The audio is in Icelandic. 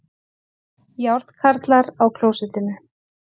Járnkarlar á klósettinu